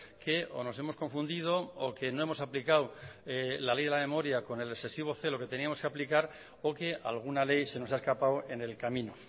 que o nos hemos confundido o que no hemos aplicado la ley de la memoria con el excesivo celo que teníamos que aplicar o que alguna ley se nos ha escapado en el camino